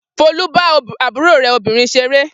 Folú bá àbúrò rẹ̀ obìnrin ṣeré.